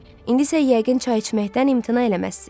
İndi isə yəqin çay içməkdən imtina eləməzsiz.